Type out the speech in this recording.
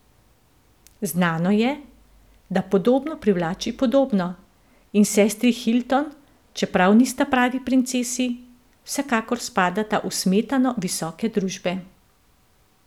Znano je, da podobno privlači podobno, in sestri Hilton, čeprav nista pravi princesi, vsekakor spadata v smetano visoke družbe.